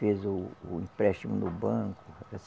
Fez o o empréstimo no banco.